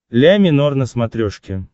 ля минор на смотрешке